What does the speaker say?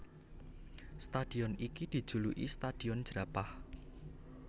Stadion iki dijuluki Stadion Jerapah